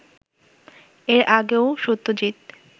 এর আগেও সত্যজিত